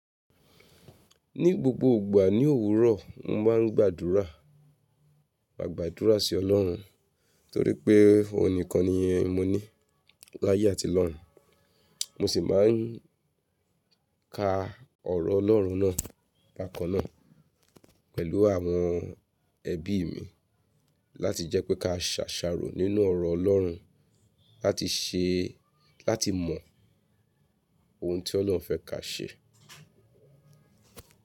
Ní gbogbo ìgbà ní òwúrọ̀, mo máa ń gbàdúrà, maa gbádúrà sí ọlọ́run torí pé òun nìkan nìi mo ní láyé àti lọ́rùn. Mo sì máa ń ka ọ̀rọ̀ Ọlọ́run náà, bakan naa pẹ̀lú àwọn ẹbí mi láti jẹ́ pé ka ṣàṣàrò nínú ọ̀rọ̀ Ọlọ́run láti ṣe, láti mọ ohun tí Ọlọ́hun fẹ́ ka ṣe.